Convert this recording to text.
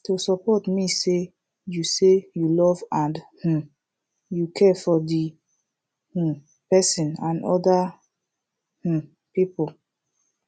to support mean say you say you love and um you care for the um person and other um people